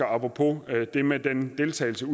apropos det med deltagelsen